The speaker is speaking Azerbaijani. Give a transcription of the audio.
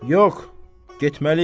Yox, getməliyəm.